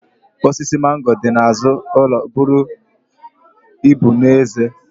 Osisi mango dị n'azụ ụlọ buru ibu n'ezie